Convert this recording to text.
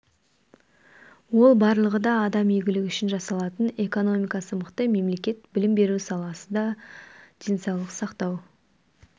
ол барлығы да адам игілігі үшін жасалатын экономикасы мықты мемлекет білім беру саласы да денсаулық сақтау